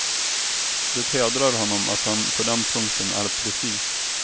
Det hedrar honom att han på den punkten är precis.